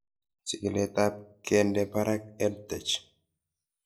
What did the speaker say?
Chig'ilet ab kende parak EdTech